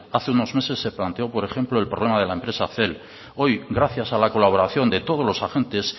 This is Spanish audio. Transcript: hace unos meses se planteó por ejemplo el problema de la empresa cel hoy gracias a la colaboración de todos los agentes